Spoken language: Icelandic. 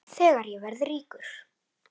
Þegar ég verð ríkur.